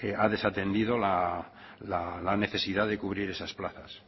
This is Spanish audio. ha desatendido la necesidad de cubrir esas plazas